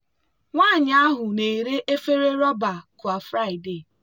nwanyị ahụ na-ere efere rọba kwa friday.